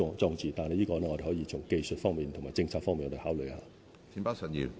關於這方面，我們可以從技術及政策方面考慮。